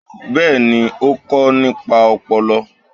Bẹ́ẹ̀ni, ó kọ nípa ọpọlọ.